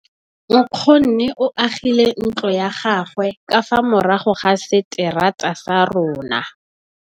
Nkgonne o agile ntlo ya gagwe ka fa morago ga seterata sa rona.